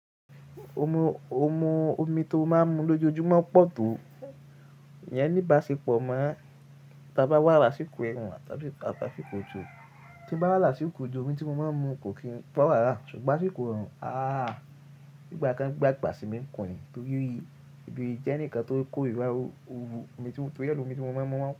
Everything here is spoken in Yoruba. Omi tó máa ń mu lójoojúmọ́ pọ̀ tó. Ìyẹn ní ìbáṣepọ̀ mọ́. Tí a bá wà lásìkò ẹ̀rùn àti lásìkò ojò, tí a bá wà lásìkò ojò, omi tí mo máa ń mu kò kí n fọwọ́ rárá. Ṣùgbọ́n sí ìkórùn, aáà, nígbà kan gbàgbà sí mi ń kùn-ìn nítorí ìdí jẹ́ ǹkan tó ń kórìíra ooru omi tí mo, torí ọ̀pọ̀ omi tí mo máa ń mu wọ́n pọ̀